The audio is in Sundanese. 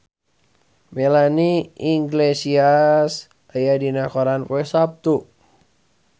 Melanie Iglesias aya dina koran poe Saptu